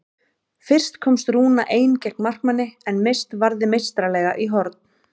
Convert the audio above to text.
Fyrst komst Rúna ein gegn markmanni en Mist varði meistaralega í horn.